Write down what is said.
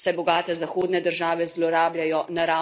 Dokler bo tako, bo Evropa privlačna celina.